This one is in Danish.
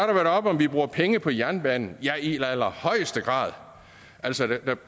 været oppe om vi bruger penge på jernbanen ja i allerhøjeste grad altså der